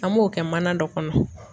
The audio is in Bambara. An b'o kɛ mana dɔ kɔnɔ